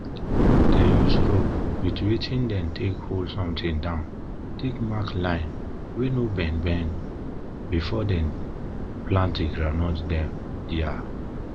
dem use rope wit wetin dem dey take hol something down take mark line wey no bend bend before dem plant di groundnut dem dia